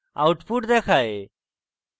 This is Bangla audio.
output দেখায়